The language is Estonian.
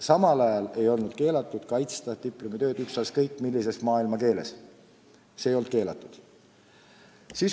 Samal ajal ei olnud keelatud kaitsta diplomitööd ükskõik millises maailmakeeles – see ei olnud keelatud.